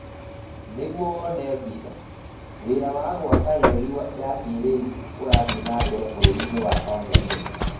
Nĩguo wone mbica: Wĩra wa gwaka reri ya kĩĩrĩu ũrathiĩ na mbere bũrũri-inĩ wa Tanzania